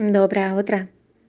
доброе утро